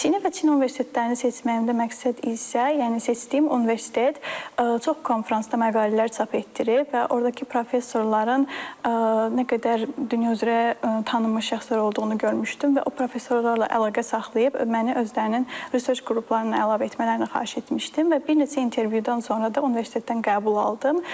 Çini və Çin universitetlərini seçməyimdə məqsəd isə, yəni seçdiyim universitet çox konfransda məqalələr çap etdirib və ordakı professorların nə qədər dünya üzrə tanınmış şəxslər olduğunu görmüşdüm və o professorlarla əlaqə saxlayıb məni özlərinin research qruplarına əlavə etmələrini xahiş etmişdim və bir neçə intervyudan sonra da universitetdən qəbul aldım.